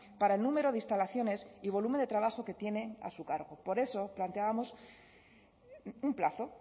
para el número de instalaciones y volumen de trabajo que tienen a su cargo por eso planteábamos un plazo